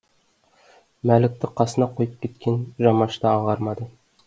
мәлікті қасына қойып кеткен жамашты аңғармады